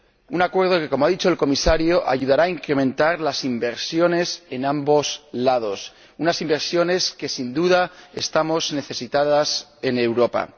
Un acuerdo que, como ha dicho el Comisario, ayudará a incrementar las inversiones en ambos lados, unas inversiones de las que, sin duda, estamos necesitados en Europa.